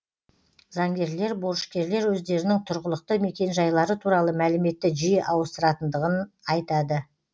заңгерлер борышкерлер өздерінің тұрғылықты мекенжайлары туралы мәліметті жиі ауыстыратындығын айтады